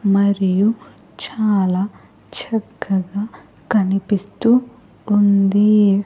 మరియు చాలా చక్కగా కనిపిస్తూ ఉంది.